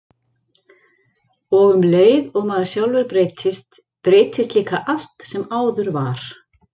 Og um leið og maður sjálfur breytist, breytist líka allt sem áður var.